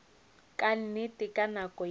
ka nnete ka nako ye